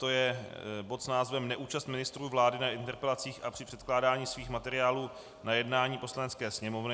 To je bod s názvem Neúčast ministrů vlády na interpelacích a při předkládání svých materiálů na jednání Poslanecké sněmovny.